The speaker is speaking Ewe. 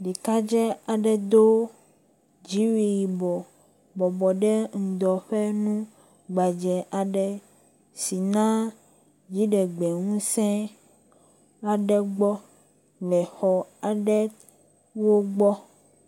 Ɖekadzi aɖe do dziwui yibɔ bɔbɔ ɖe ŋdɔ ƒe nu gbedze aɖe si na dziɖegbe ŋusẽ aɖe le exɔwo aɖe gbɔ